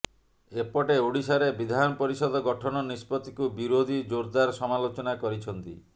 ଏପଟେ ଓଡ଼ିଶାରେ ବିଧାନ ପରିଷଦ ଗଠନ ନିଷ୍ପତ୍ତିକୁ ବିରୋଧୀ ଜୋରଦାର ସମାଲୋଚନା କରିଛନ୍ତି